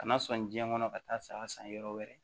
Kana sɔn diɲɛ kɔnɔ ka taa saya san yɔrɔ wɛrɛ